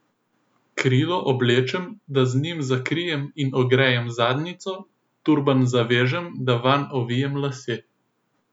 Krilo oblečem, da z njim zakrijem in ogrejem zadnjico, turban zavežem, da vanj ovijem lase.